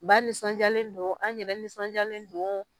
Ba nisɔndiyalen don, an yɛrɛ nisɔndiyalen don